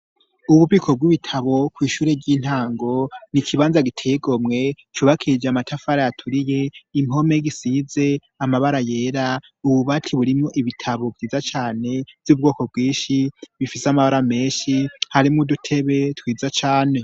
Ububiko bw'ibitabo kw'ishure ry'intango n'ikibanza giteye igomwe cubakije amatafari aturiye, impome zisize amabara yera, ububati burimwo ibitabo vyiza cane vy'ubwoko bwinshi, bifise amabara menshi harimwo udutebe twiza cane.